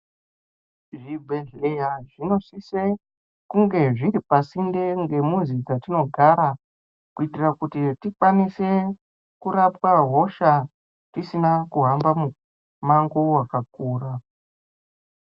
Zvibhedhleya zvinosise kunge zviri pasinde ngemuzi dzatinogara, kuyitire kuti tikwanise kurapwa hosha, tisina kuhamba mumango wakakura.